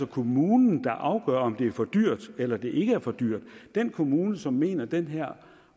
kommunen der afgør om det er for dyrt eller det ikke er for dyrt den kommune som mener at den her